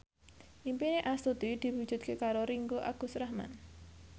impine Astuti diwujudke karo Ringgo Agus Rahman